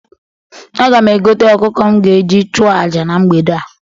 Aga m egote ọkụkọ m ga-eji chụọ aja na mgbede a.